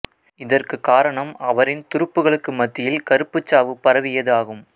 இதற்கு காரணம் அவரின் துருப்புகளுக்கு மத்தியில் கறுப்புச் சாவு பரவியது ஆகும்